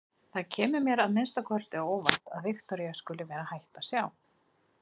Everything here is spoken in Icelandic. Það kemur mér að minnsta kosti á óvart að Viktoría skuli vera hætt að sjá.